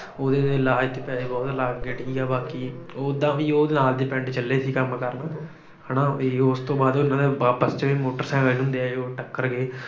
ਉਹਦੇ ਇਲਾਜ ਤੇ ਪੈਸੇ ਬਹੁਤ ਲੱਗ ਗਏ। ਬਾਕੀ ਉਦਾਂ ਵੀ ਉਹ ਨਾਲ ਦੇ ਪਿੰਡ ਚੱਲੇ ਸੀ ਕੰਮ ਕਰਨ। ਹਨਾ ਵੀ ਉਸ ਤੋਂ ਬਾਅਦ ਉਹਨਾਂ ਦੇ ਆਪਸ ਚ ਮੋਟਰਸਾਈਕਲ ਹੁੰਦੇ ਆ ਜਿਹੜੇ ਉਹ ਟੱਕਰ ਗੇ।